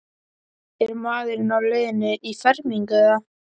Er maðurinn á leiðinni í fermingu eða?